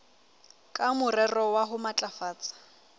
ka morero wa ho matlafatsa